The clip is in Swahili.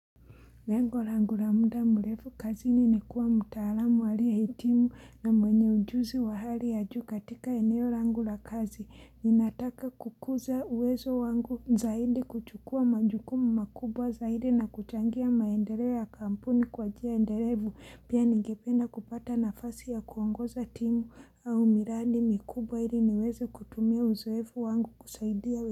Lengo langu la muda mrefu kazi ni nikuwa mtaalamu aliyeh itimu na mwenye ujuzi wa hali ya juu katika eneo langu la kazi. Ninataka kukuza uwezo wangu zaidi kuchukua majukumu makubwa zaidi na kuchangia maendelea kampuni kwa njia endelevu. Pia nigependa kupata nafasi ya kuongoza timu au miradi mikubwa ili niweze kutumia uzoefu wangu kusaidia uwezo.